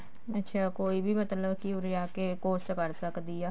ਅੱਛਾ ਕੋਈ ਵੀ ਮਤਲਬ ਕੀ ਉਰੇ ਆ ਕੇ course ਕਰ ਸਕਦੀ ਆ